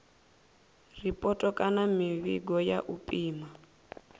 ripoto kana mivhigo ya u pima